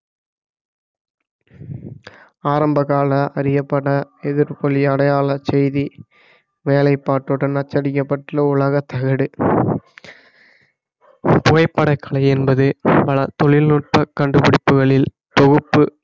ஆரம்பகால அறியப்பட எதிர்கொள்ளி அடையாள செய்தி வேலைப்பாட்டுடன் அச்சடிக்கப்பட்டுள்ள உலக தகடு புகைப்பட கலை என்பது பல தொழில்நுட்ப கண்டுபிடிப்புகளில் தொகுப்பு